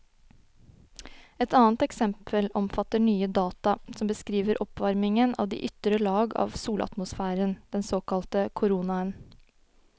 Et annet eksempel omfatter nye data som beskriver oppvarmingen av de ytre lag av solatmosfæren, den såkalte koronaen.